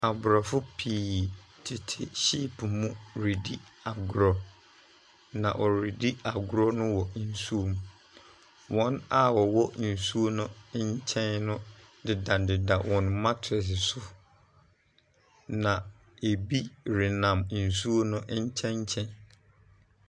Aborɔfo pii tete hyeepo mu redi agorɔ, na wɔredi agorɔ no wɔ nsuom. Wɔn a wɔwɔ nsuo no nkyɛn no dedadeda wɔn matrex so, na ebi na nsuo no nkyɛnkyɛn.